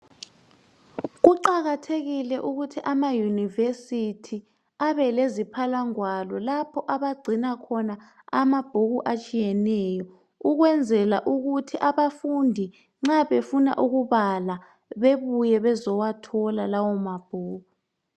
Kuqakathekile ukuthi amayunivesithi abeleziphalangwalo lapho abagcina khona amabhuku atshiyeneyo ukwenzela ukuthi abafundi nxa befuna ukubala bebuye bezowathola lawo mabhuku.